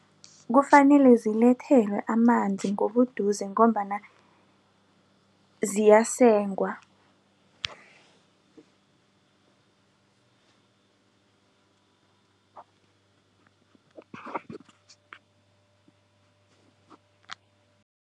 Kufanele zilethelwe amanzi ngobuduze ngombana ziyasengwa.